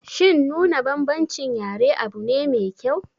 Shin nuna bambancin yare abune mai kyau?